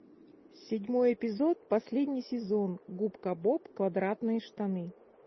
седьмой эпизод последний сезон губка боб квадратные штаны